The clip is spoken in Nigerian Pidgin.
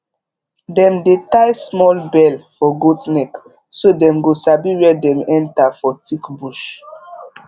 dem dey tie small bell for goat neck so dem go sabi where dem enter for thick bush